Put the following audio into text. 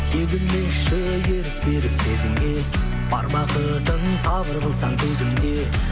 егілмеші ерік беріп сезімге бар бақытың сабыр қылсаң төзімде